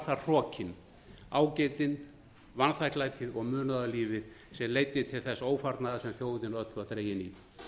það hrokinn ágirndin vanþakklætið og munaðarlífið sem leiddi til þess ófarnaðar sem þjóðin öll var dregin í